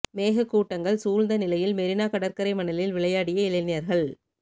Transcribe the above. மேக கூட்டங்கள் சூழ்ந்த நிலையில் மெரினா கடற்கரை மணலில் விளையாடிய இளைஞர்கள்